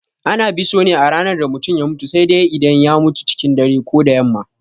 Ana biso ne a ranar da mutum ya mutu sai dai idan ya mutum cikin dare ko da yamma.